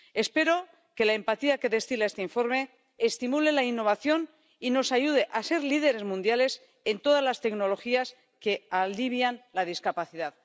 Espero que la empatía que destila este informe estimule la innovación y nos ayude a ser líderes mundiales en todas las tecnologías que alivian la discapacidad.